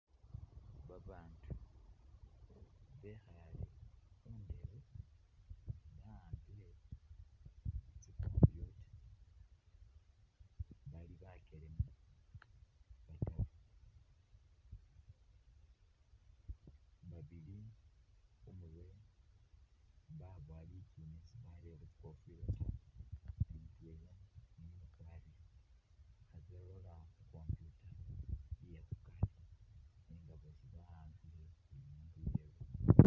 Babandu bekhale khundebe bawambile tsi computer bali bakyelema bataru , babili khumurwe babowa litsune sibarelekho tsingofila taa ne mutwela niyo ukwarile khebalola khu’computer iye khukari nga bosi bawambike buli mundu iyewe .